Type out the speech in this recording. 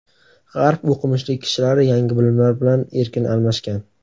G‘arb o‘qimishli kishilari yangi bilimlar bilan erkin almashgan.